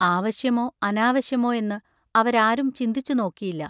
ആവശ്യമോ അനാവശ്യമോ എന്ന് അവരാരും ചിന്തിച്ചു നോക്കിയില്ല.